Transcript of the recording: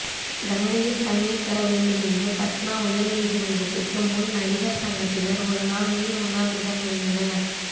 கங்கையில் தண்ணிதர வேண்டுமென்று பாட்னா உயர்நீதிமன்றத்திற்கு முன் நடிகர் சங்கத்தினர் ஒரு நாள் நீர் உண்ணாவிரதமிருந்தனர்